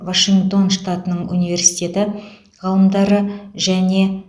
вашингтон штатының университеті ғалымдары және